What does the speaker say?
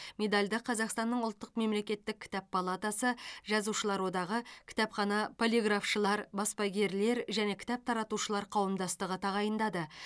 медальді қазақстанның ұлттық мемлекеттік кітап палатасы жазушылар одағы кітапхана полиграфшылар баспагерлер және кітап таратушылар қауымдастығы тағайындады